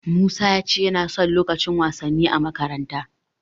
Musa ya ce yana son lukacin wasanni a makaranta.